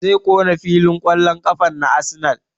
Zai ƙona filin ƙwallon ƙafan na Arsenal